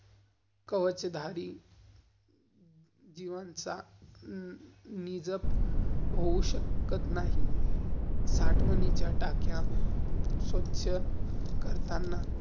कवचधारी . जीवांचा निजप होऊ नाही. साठवनिच्या टाक्या, स्वच्छ करताना.